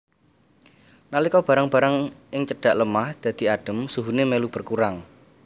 Nalika barang barang ing cedhak lemah dadhi adem suhune melu berkurang